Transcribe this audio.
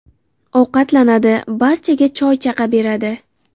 Ovqatlanadi, barchaga choy-chaqa beradi.